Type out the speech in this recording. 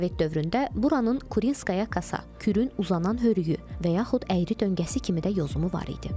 Sovet dövründə buranın Kurinskaya kasa, Kürün uzanan hörüyü və yaxud əyri döngəsi kimi də yozumu var idi.